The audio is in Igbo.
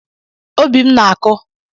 Obi m na-akụ.